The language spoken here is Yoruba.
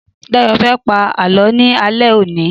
Dáyọ̀ fẹ́ pá Àlọ́ ni alẹ́ òní.